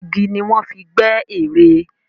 Igi ni wọ́n fi gbẹ́ ère.